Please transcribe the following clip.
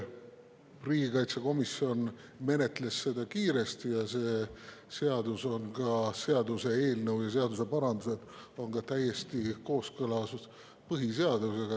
Riigikaitsekomisjon menetles seda kiiresti ning see seaduseelnõu ja seaduseparandused on põhiseadusega täiesti kooskõlas.